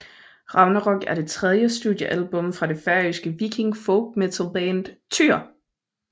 Ragnarok er det tredje studiealbum fra det færøske viking folkmetal band Týr